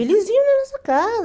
Eles iam na nossa casa.